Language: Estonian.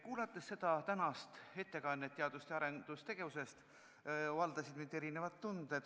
Kuulates tänast ettekannet teadus- ja arendustegevusest, valdasid mind erinevad tunded.